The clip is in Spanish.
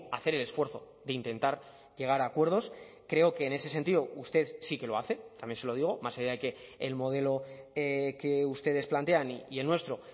hacer el esfuerzo de intentar llegar a acuerdos creo que en ese sentido usted sí que lo hace también se lo digo más allá de que el modelo que ustedes plantean y el nuestro